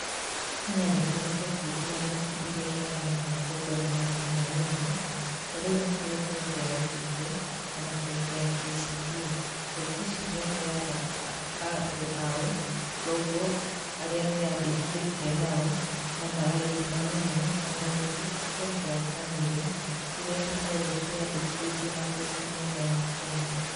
Kenya nĩkũrĩ bengi itiganĩte iria iheanaga ngombo na marĩhi manini, tarĩu nĩkũrĩ bengi ya Equity, ona bengi ya Kcb. Bengi icio nĩ iheaga andũ ao ngombo arĩa meyandĩkithĩtie nao na marĩhi manini. Ona ningĩ bengi ya Family iria cĩkoragwo ciĩyandĩkĩthĩtie na bengi nene ya Kenya.